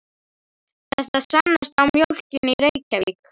Þetta sannast á mjólkinni í Reykjavík.